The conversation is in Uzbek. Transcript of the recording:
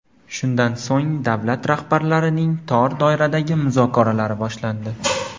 Shundan so‘ng davlat rahbarlarining tor doiradagi muzokaralari boshlandi.